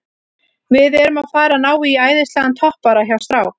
Við erum að fara að ná í æðislegan toppara hjá strák